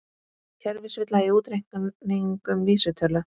Kerfisvilla í útreikningum vísitölu